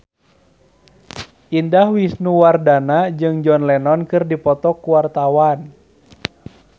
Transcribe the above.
Indah Wisnuwardana jeung John Lennon keur dipoto ku wartawan